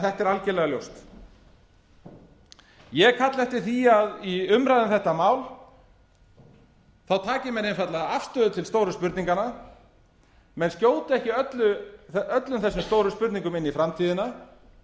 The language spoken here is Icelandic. þetta er algerlega ljóst ég kalla eftir því að í umræðu um þetta mál taki menn einfaldlega afstöðu til stóru spurninganna menn skjóta ekki öllum þessum stóru spurningum einn í framtíðina